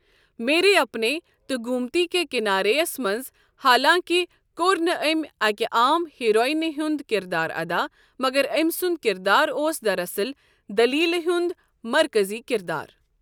میرے اپنے تہٕ گومتی کے کنارے یَس منٛز، حالانٛکہِ کوٚر نہٕ أمۍ اَکہِ عام ہیروئینہِ ہُنٛد کِردار ادا، مگر أمۍ سُنٛد کِردار اوس دراصل دٔلیٖلہِ ہُنٛد مرکٔزی کِردار۔